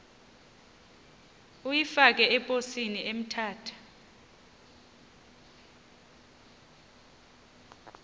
uyifake eposini emthatha